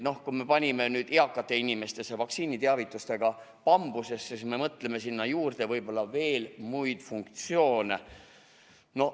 Noh, kui me panime eakate inimeste vaktsiiniteavitustega bambusesse, siis me mõtleme sinna juurde võib-olla veel muid funktsioone.